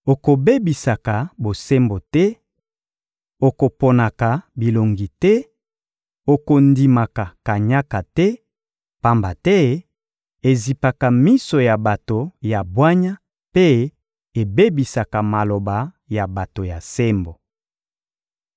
Okobebisaka bosembo te, okoponaka bilongi te, okondimaka kanyaka te, pamba te ezipaka miso ya bato ya bwanya mpe ebebisaka maloba ya bato ya sembo.